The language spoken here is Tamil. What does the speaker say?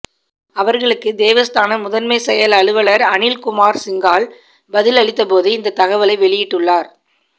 அவர்களுக்கு தேவஸ்தான முதன்மை செயல் அலுவலர் அனில்குமார்சிங்கால் பதில் அளித்த போதே இந்த தகவலை வெளியிட்டுள்ளார்